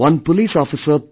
One police officer P